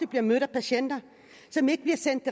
bliver mødt af patienter som ikke bliver sendt